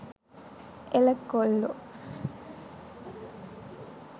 එළ කොල්ලෝ.